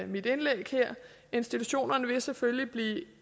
mit indlæg her institutionerne vil selvfølgelig blive